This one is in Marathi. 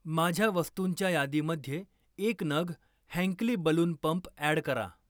माझ्या वस्तुंच्या यादीमध्ये एक नग हँकली बलून पंप ॲड करा.